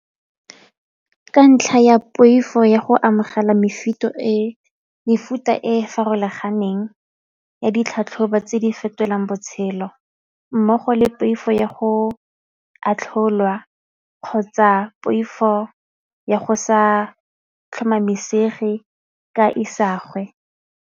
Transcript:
Ka ntlha ya poifo ya go amogela mefuta e farologaneng ya ditlhatlhobo tse di fetolang botshelo mmogo le poifo ya go atlholwa kgotsa poifo ya go sa tlhomamisege ka isagwe.